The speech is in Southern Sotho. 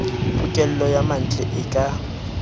pokello ya mantle e ka